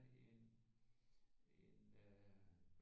En en øh